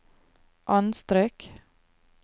anstrøk